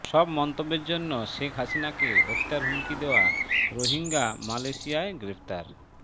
সব মন্তব্যের জন্য শেখ হাসিনাকে হত্যার হুমকি দেওয়া রোহিঙ্গা মালয়েশিয়ায় গ্রেপ্তার